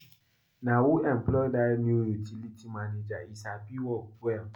Na who employ dat new utility manager? He sabi work well.